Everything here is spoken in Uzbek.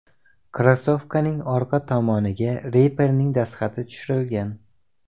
Krossovkaning orqa tomoniga reperning dastxati tushirilgan.